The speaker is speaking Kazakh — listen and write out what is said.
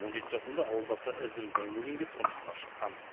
он жеті жасында ауылдасы ізім зайнуллинге тұрмысқа шыққан